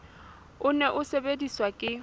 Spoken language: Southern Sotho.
o ne o sebediswa ke